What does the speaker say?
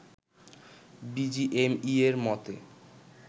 বিজিএমইএ’র মতে